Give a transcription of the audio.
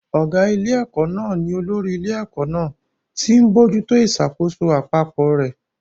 Ọ̀gá ilé-ẹ̀kọ́ náà ni olórí ilé-ẹ̀kọ́ náà, tí ó ń bójú tó ìṣàkóso àpapọ̀ rẹ̀.